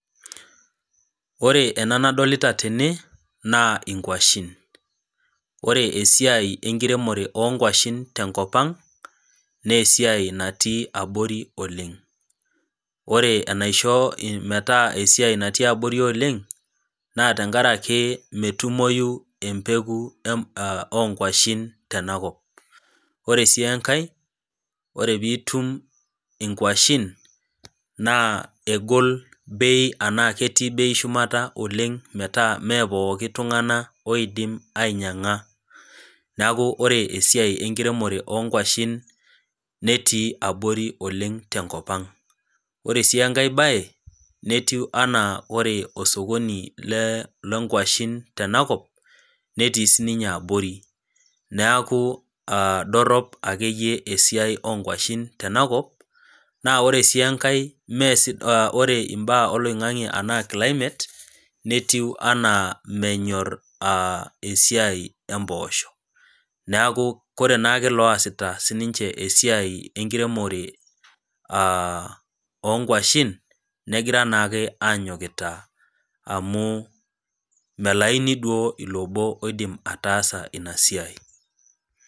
Ore ena nadolita tene, naa inkwashen, ore esiai enkiremore oo nkwashen te enkop aang' naa esiai natii abori oleng', ore enaishoo metaa etii abori oleng', naa tenkaraki metumoyu embeko oo nkwashen tena kop. Ore sii enkai, ore piitum inkwashen naa egol beii anaa ketii beii shumata oleng' metaa mee pooki tung'ana oidim ainyang'a. Neaku ore esiai enkiremore oo nkwashen netii aborioleng' tenkop aang'. Ore sii enkai baye, netiu anaa ore osokoni loo nkwashen tenakop, netii sii ninye abori, neaku dorop ake iyie esiai oo nkwashen tenakop, naa ore sii enkai ore imbaa oloing'ang'e anaa climate netiu anaa menyor esiai empoosho. Neaku ore naa sii ninche oasita esiai enkiremore oo nkwashen, negira naake aanyokita amu, malaini naa duo ilo obo oidim ataasa ina siai.